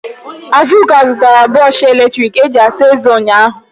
Azụka zụtara brọshị eletrik e ji asa ezé ụnyaahụ.